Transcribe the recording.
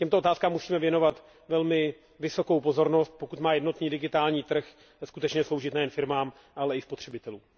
Těmto otázkám musíme věnovat velmi vysokou pozornost, pokud má jednotný digitální trh skutečně sloužit nejen firmám, ale i spotřebitelům.